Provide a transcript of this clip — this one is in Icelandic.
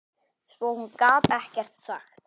Svo hún gat ekkert sagt.